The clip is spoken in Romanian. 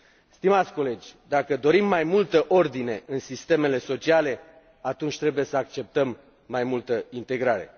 Stimați colegi, dacă dorim mai multă ordine în sistemele sociale, atunci trebuie să acceptăm mai multă integrare.